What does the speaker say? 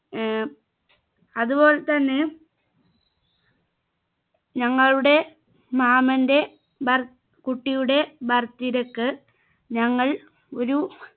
ഏർ അതുപോലെ തന്നെ ഞങ്ങളുടെ മാമന്റെ ബർ കുട്ടിയുടെ birthday ക്ക് ഞങ്ങൾ ഒരു